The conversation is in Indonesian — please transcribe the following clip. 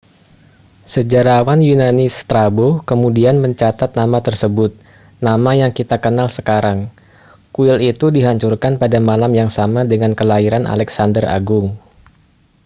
sejarawan yunani strabo kemudian mencatat nama tersebut nama yang kita kenal sekarang kuil itu dihancurkan pada malam yang sama dengan kelahiran alexander agung